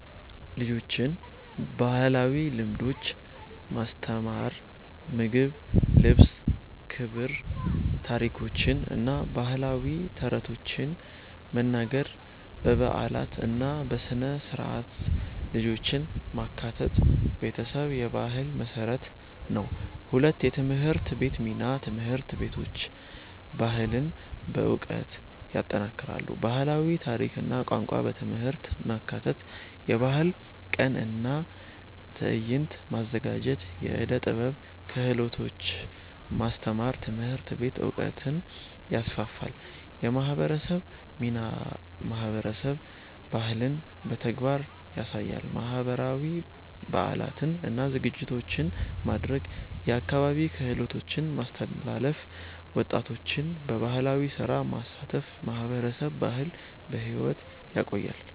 ልጆችን ባህላዊ ልምዶች ማስተማር (ምግብ፣ ልብስ፣ ክብር) ታሪኮችን እና ባህላዊ ተረቶችን መናገር በበዓላት እና በሥነ-ሥርዓት ልጆችን ማካተት ቤተሰብ የባህል መሠረት ነው። 2የትምህርት ቤት ሚና ትምህርት ቤቶች ባህልን በዕውቀት ይጠናክራሉ። ባህላዊ ታሪክ እና ቋንቋ በትምህርት ማካተት የባህል ቀን እና ትዕይንት ማዘጋጀት የዕደ ጥበብ ክህሎቶች ማስተማር ትምህርት ቤት ዕውቀትን ይስፋፋል። የማህበረሰብ ሚናማህበረሰብ ባህልን በተግባር ያሳያል። ባህላዊ በዓላትን እና ዝግጅቶችን ማድረግ የአካባቢ ክህሎቶችን ማስተላለፍ ወጣቶችን በባህላዊ ስራ ማሳተፍ ማህበረሰብ ባህልን በሕይወት ያቆያል።